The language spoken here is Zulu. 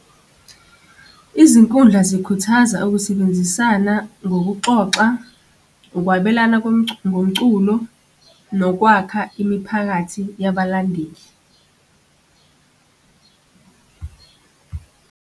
Izinkundla zikukhuthaza ukusebenzisana ngokuxoxa, ukwabelana komculo ngomculo, nokwakha imiphakathi yabalandeli.